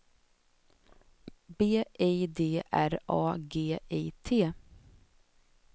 B I D R A G I T